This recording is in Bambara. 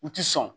U ti sɔn